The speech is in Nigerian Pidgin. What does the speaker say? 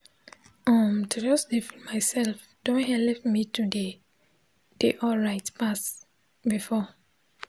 um to jus dey feel mysef don helep me de dey alright pass befor